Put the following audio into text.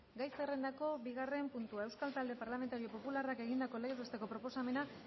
gai zerrendako bigarren puntua talde parlamentario popularrak egindako legez besteko proposamena